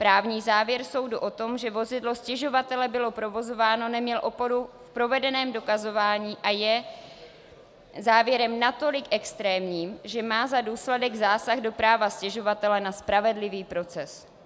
Právní závěr soudu o tom, že vozidlo stěžovatele bylo provozováno, neměl oporu v provedeném dokazování a je závěrem natolik extrémním, že má za důsledek zásah do práva stěžovatele na spravedlivý proces.